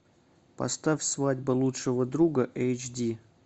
поставь свадьба лучшего друга эйч ди